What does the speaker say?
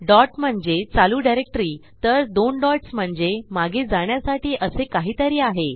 dot म्हणजे चालू directory तर दोन डॉट्स म्हणजे मागे जाण्यासाठी असे काहीतरी आहे